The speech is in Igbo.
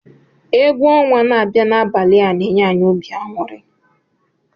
Egwu ọnwa na-abịa n'abalị a na-enye anyị obi aṅụrị.